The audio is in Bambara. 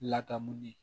Ladamu de